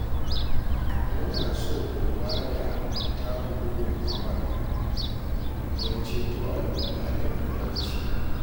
Muna so ku ba da taku gudunmawar don ceto al'umma daga talauci